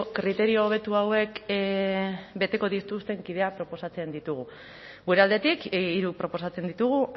kriterio hobetu hauek beteko dituzten kideak proposatzen ditugu gure aldetik hiru proposatzen ditugu